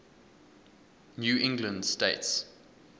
new england states